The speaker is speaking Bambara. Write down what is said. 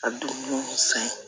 A du san